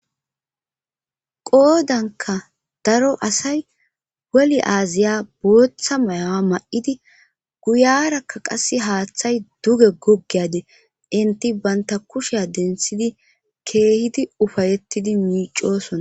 qoodanka daro asay woli aaziya booththa mayawa ma'idi guyarakka qasse haaththay duge goggeyade inti banta kusha denthidi keehidi ufayettidi miicosona